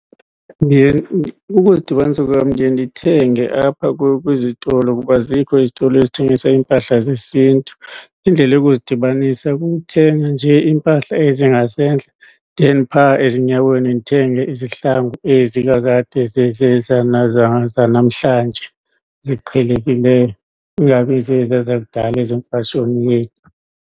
Ukuzidibanisa kweyam ndiye ndithenge apha kwizitolo kuba azikho izitolo ezithengisa iimpahla zesiNtu. Indlela yokuzidibanisa kukuthenga nje iimpahla ezingasentla then phaa ezinyaweni ndithenge izihlangu ezi kakade zanamhlanje ziqhelekileyo, kungabi zeziya zakudala ezemfatshoni yethu.